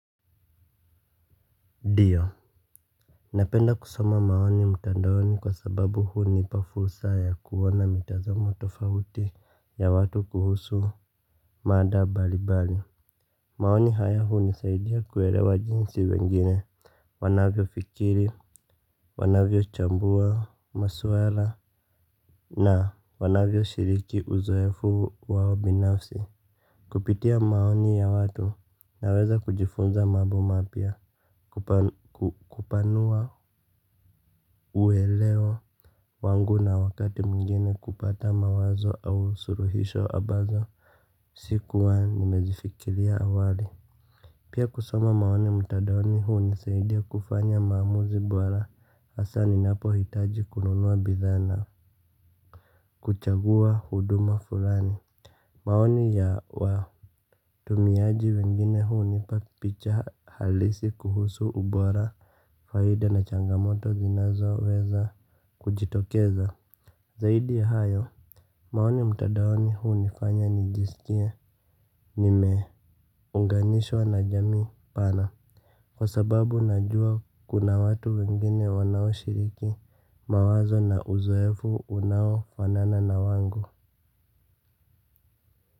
Ndiyo napenda kusoma maoni mtandaoni kwa sababu hunipa fursa ya kuona mitazamo tofauti ya watu kuhusu mada mbalimbali maoni haya hunisaidia kuelewa jinsi wengine wanavyofikiri wanavyochambua maswala na wanavyoshiriki uzoefu wao binafsi. Kupitia maoni ya watu naweza kujifunza mambo mapya. Kupanua uelewa wangu na wakati mwingine kupata mawazo au suluhisho ambazo sikuwa nimezifikiria awali pia kusoma maoni mtandaoni hunisaidia kufanya maamuzi bora. Hasa ninapohitaji kununua bidhaa na kuchagua huduma fulani maoni ya watumiaji wengine hunipa picha halisi kuhusu ubora faida na changamoto zinazoweza kujitokeza. Zaidi ya hayo maoni mtandaoni hunifanya nijisikie nimeunganishwa na jamii pana kwa sababu najua kuna watu wengine wanaoshiriki mawazo na uzoefu unaofanana na wangu.